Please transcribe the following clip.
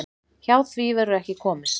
Hjá því verður ekki komist.